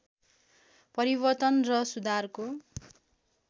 परिवर्तन र सुधारको